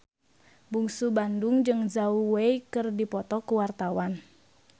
Bungsu Bandung jeung Zhao Wei keur dipoto ku wartawan